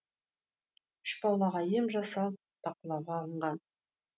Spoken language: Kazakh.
үш балаға ем жасалып бақылауға алынған